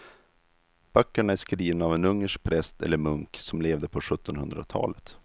Böckerna är skrivna av en ungersk präst eller munk som levde på sjuttonhundratalet.